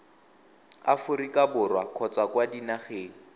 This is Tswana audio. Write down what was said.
aforika borwa kgotsa kwa dinageng